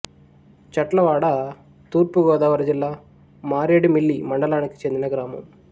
చట్లవాడ తూర్పు గోదావరి జిల్లా మారేడుమిల్లి మండలానికి చెందిన గ్రామం